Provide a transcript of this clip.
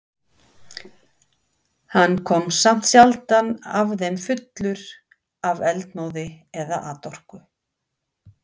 Hann kom samt sjaldan af þeim fullur af eldmóði eða atorku.